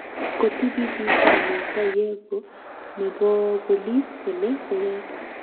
Kotibitishan Musa yego neo nebo bolis kole koyaak